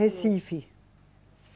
Recife.